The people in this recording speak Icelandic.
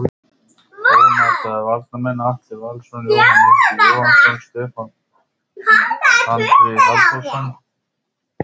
Ónotaðir varamenn: Atli Valsson, Jóhann Ingi Jóhannsson, Stefán Tandri Halldórsson.